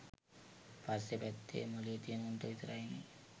පස්ස පැත්තෙ මොලේ තියෙන උන්ට විතරයිනෙ